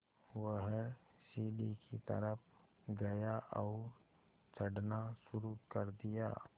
वह सीढ़ी की तरफ़ गया और चढ़ना शुरू कर दिया